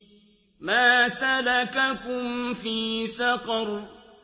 مَا سَلَكَكُمْ فِي سَقَرَ